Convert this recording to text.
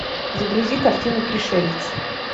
загрузи картину пришелец